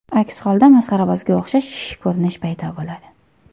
Aks holda masxarabozga o‘xshash ko‘rinish paydo bo‘ladi.